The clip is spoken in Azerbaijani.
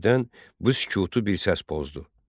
Birdən bu sükutu bir səs pozdu.